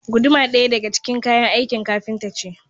Guduma ɗaya daga ciki kayan aikin kafinta ce